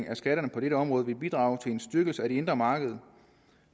af skatterne på dette område vil bidrage til en styrkelse af det indre marked